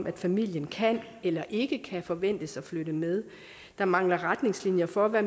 at familien kan eller ikke kan forventes at flytte med der mangler retningslinjer for hvad